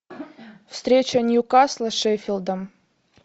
встреча ньюкасла с шеффилдом